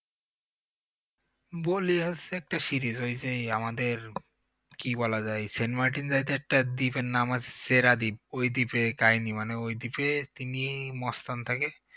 বলি হচ্ছে একটা series ওই যে এই আমাদের কি বলা যায় সেন্ট মার্টিন যাইতে ওই একটা দ্বীপের নাম আছে সেরা ওই দিপের কাহিনী মানে ঐ দ্বীপে তিনি মস্তান থাকে